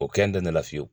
O kɛn da nana fiyewu